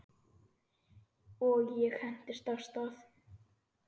Og ég hentist af stað.